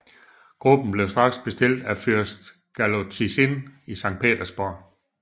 Gruppen blev straks bestilt af fyrst Galotzin i Sankt Petersborg